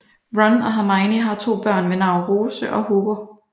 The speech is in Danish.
Ron og Hermione har to børn ved navn Rose og Hugo